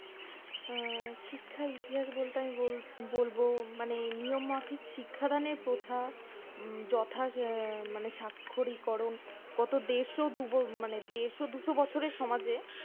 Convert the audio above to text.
আহ শিক্ষার ইতিহাস বলতে আমি বলবো নিয়মমাফিক শিক্ষা দানের প্রথা যথা মানে সাক্ষরিকরন কত দেড়শ দুশো বছরের সমাজে